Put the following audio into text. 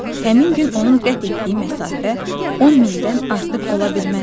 Həmin gün onun qət etdiyi məsafə 10 mildən artıq ola bilməzdi.